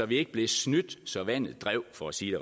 vi ikke blev snydt så vandet drev for at sige